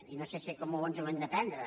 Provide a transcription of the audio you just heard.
i no sé com ens ho hem de prendre